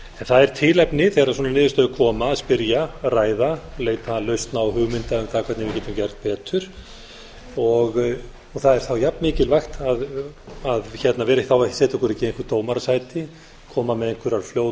það er tilefni þegar svona niðurstöður koma að spyrja ræða leita lausna og hugmynda um það hvernig við getum gert betur það er jafn mikilvægt að setja okkur í einhver dómarasæti koma með